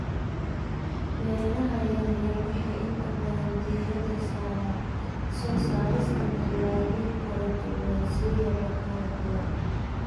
Beeraha yaryar waxay inta badan diiradda saaraan soo saarista dalagyo kala duwan siyaabo kala duwan.